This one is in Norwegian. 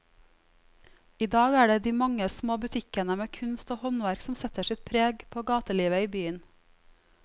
I dag er det de mange små butikkene med kunst og håndverk som setter sitt preg på gatelivet i byen.